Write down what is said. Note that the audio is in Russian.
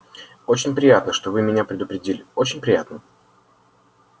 очень приятно что вы меня предупредили очень приятно